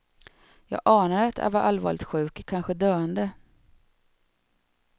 Jag anade att jag var allvarligt sjuk, kanske döende.